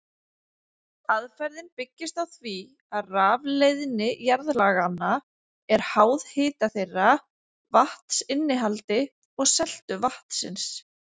Aðferðin byggist á því að rafleiðni jarðlaganna er háð hita þeirra, vatnsinnihaldi og seltu vatnsins.